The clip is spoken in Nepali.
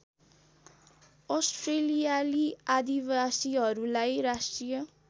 अस्ट्रेलियाली आदिवासीहरूलाई राष्ट्रिय